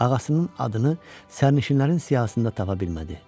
Ağasının adını sərnişinlərin siyahısında tapa bilmədi.